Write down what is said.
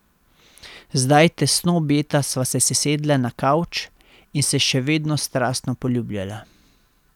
Zdaj tesno objeta sva se sesedla na kavč in se še vedno strastno poljubljala.